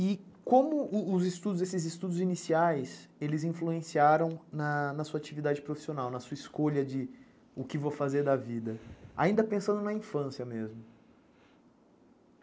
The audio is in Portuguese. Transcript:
E como os estudos, esses estudos iniciais, eles influenciaram na sua atividade profissional, na sua escolha de o que vou fazer da vida, ainda pensando na infância mesmo?